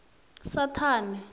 saṱhane